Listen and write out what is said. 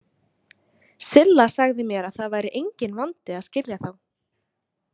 Silla sagði mér að það væri enginn vandi að skilja þá.